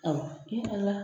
Awɔ Ala!